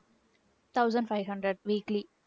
thousand five-hundred weekly